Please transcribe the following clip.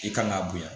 I kan k'a bonya